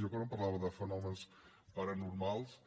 jo quan em parlava de fenòmens paranormals